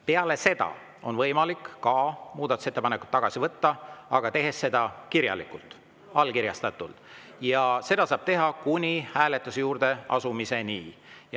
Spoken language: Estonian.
Peale seda on ka võimalik muudatusettepanekut tagasi võtta, aga tehes seda kirjalikult, allkirjastatult, ja seda saab teha kuni hääletuse juurde asumiseni.